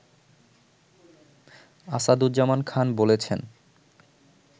আসাদুজ্জামান খান বলেছেন